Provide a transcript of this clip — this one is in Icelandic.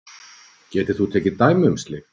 Getur þú tekið dæmi um slíkt?